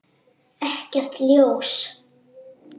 Ekkert ljós.